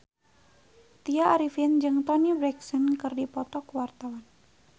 Tya Arifin jeung Toni Brexton keur dipoto ku wartawan